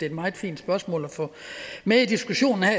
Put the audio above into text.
et meget fint spørgsmål at få med i diskussionen her